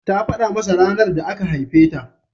Ta faɗa masa ranar da aka haife ta.